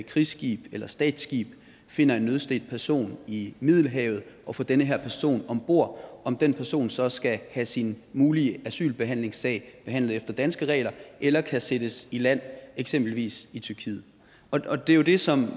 krigsskib eller statsskib finder en nødstedt person i middelhavet og får den her person om bord om den person så skal have sin mulige asylbehandlingssag behandlet efter danske regler eller kan sættes i land eksempelvis i tyrkiet og det er jo det som